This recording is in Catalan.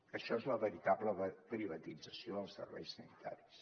això és la veritable privatització dels serveis sanitaris